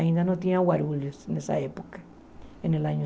Ainda não tinha Guarulhos nessa época, no ano